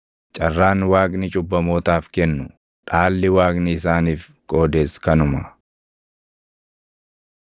Carraan Waaqni cubbamootaaf kennu, dhaalli Waaqni isaaniif qoodes kanuma.”